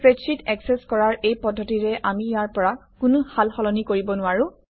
spreadsheet একচেচ কৰাৰ এই পদ্ধতিৰে আমি ইয়াৰ পৰা কোনো সাল সলনি কৰিব নোৱাৰোঁ